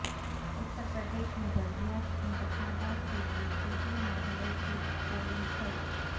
اتر پردیش میں بلدیات انتخابات کیلئے تیسرے مرحلہ کی پولنگ کل